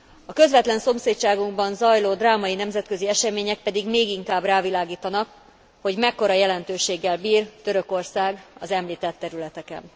A közvetlen szomszédságunkban zajló drámai nemzetközi események pedig még inkább rávilágítanak, hogy mekkora jelentőséggel bír Törökország az említett területeken.